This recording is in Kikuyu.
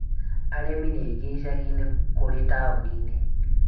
Arĩmi nĩaingĩ icagiinĩ kũrĩ taoniinĩ